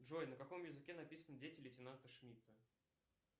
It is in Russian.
джой на каком языке написаны дети лейтенанта шмидта